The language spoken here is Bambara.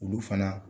Olu fana